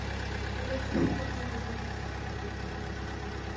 Mas essas reuniões, esses...